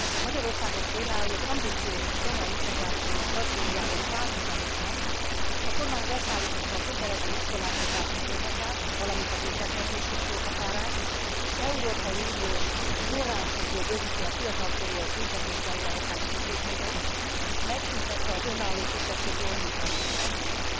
Magyarországon például az ambiciózus roma integrációs stratégiával párhuzamosan, a kormány leszállította a kötelező iskoláztatási korhatárt, valamint a büntethetőség korhatárát, európai uniós forrásokból bővíti a fiatalkorúak büntetés végrehajtási intézményeit, megszűntette az önálló kisebbségi ombudsman intézményét.